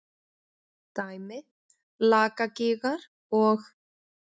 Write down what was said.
Dæmi: Lakagígar og